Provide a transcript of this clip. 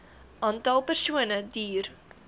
aantal persone duur